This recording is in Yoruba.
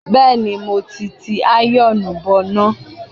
Bẹ́ẹ̀ni, mo ti ti àyọ̀ọ̀nù bọná.